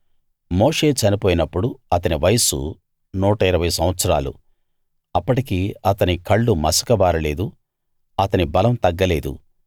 మోషే చనిపోయినప్పుడు అతని వయసు 120 సంవత్సరాలు అప్పటికి అతని కళ్ళు మసకబారలేదు అతని బలం తగ్గలేదు